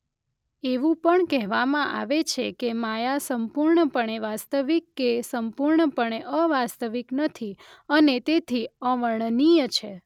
એવું પણ કહેવામાં આવે છે કે માયા સંપૂર્ણપણે વાસ્તવિક કે સંપૂર્ણપણે અવાસ્તવિક નથી અને તેથી અવર્ણનીય છે.